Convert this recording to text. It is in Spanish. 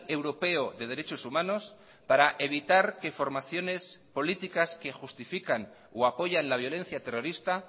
europeo de derechos humanos para evitar que formaciones políticas que justifican o apoyan la violencia terrorista